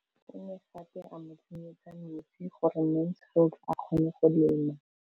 O ne gape a mo tsenyetsa metsi gore Mansfield a kgone go lema.